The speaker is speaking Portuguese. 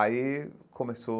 Aí começou